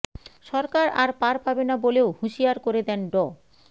সরকার আর পার পাবে না বলেও হুঁশিয়ার করে দেন ড